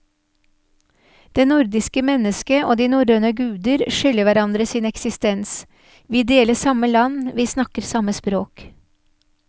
Det nordiske mennesket og de norrøne guder skylder hverandre sin eksistens, vi deler samme land, vi snakker samme språk.